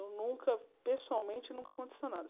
Eu nunca, pessoalmente, nunca aconteceu nada.